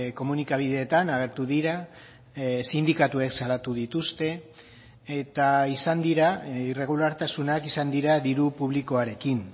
komunikabideetan agertu dira sindikatuek salatu dituzte eta izan dira irregulartasunak izan dira diru publikoarekin